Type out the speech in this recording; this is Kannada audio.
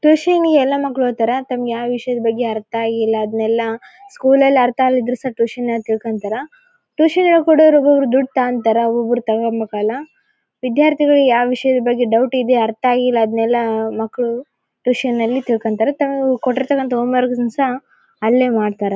ಟ್ಯೂಷನ್ ನಂಗೆ ಎಲ್ಲ ಮಕ್ಕಳು ಹೋಗ್ತಾರೆ ತಮಗೆ ಯಾವ ವಿಷಯದ ಬಗ್ಗೆ ಅರ್ಥ ಆಗಿಲ್ಲ ಅದನೆ ಲ್ಲ ಸ್ಕೂಲ್ ನಲ್ಲಿ ಅರ್ಥ ಆಗಿಲ್ಲ ಸಹ ಟ್ಯೂಷನ್ ನಾಗ್ ತಿಳ್ಕೊಳ್ತಾರಾ ಟ್ಯೂಷನ್ ಹೇಳ್ಕೊಡೋರು ಒಬ್ಬ್ ಒಬ್ಬರು ದುಡ್ಡ್ ತಗೋಂತಾರ ಒಬ್ಬ್ ಒಬ್ಬರು ತಗೋಬೇಕು ಅಲ್ಲ ವಿದ್ಯಾರ್ಥಿಗಳು ಯಾವ ವಿಷಯದ ಬಗ್ಗೆ ಡೌಟ್ ಇದೆ ಅರ್ಥ ಆಗಿಲ್ಲ ಅದ್ನೇಲ್ಲ ಮಕ್ಕಳು ಟ್ಯೂಷನ್ ನಲ್ಲಿ ತಿಳ್ಕೊಂಳ್ತಾರೆ ತಮಗೆ ಕೊಟ್ಟಿರೊತ್ತಕಂತ್ತ ಹೋಂ ವರ್ಕ್ ಸಹ ಅಲ್ಲೇ ಮಾಡತ್ತಾರೆ .